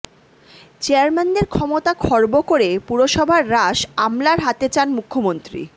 চেয়ারম্যানদের ক্ষমতা খর্ব করে পুরসভার রাশ আমলার হাতে চান মুখ্যমন্ত্রী